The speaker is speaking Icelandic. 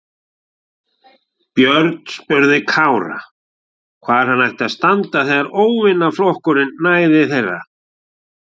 Björn spurði Kára hvar hann ætti að standa þegar óvinaflokkurinn næði til þeirra.